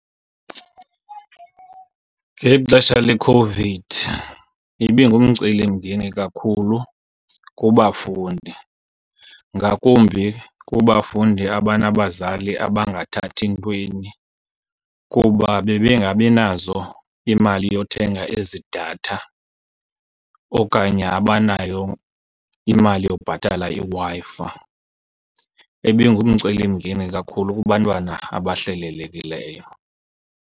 Ngexesha leCOVID ibingumcelimngeni kakhulu kubafundi ngakumbi kubafundi abanabazali abangathathi ntweni kuba bebengabinazo imali yothenga ezi datha okanye abanayo imali yobhatala iWi-Fi. Ibingumcelimngeni kakhulu kubantwana abahlelelekileyo.